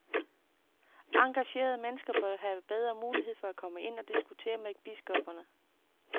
Engagerede mennesker bør have bedre mulighed for at komme ind og diskutere med biskopperne.